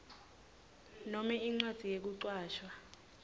nome incwadzi yekucashwa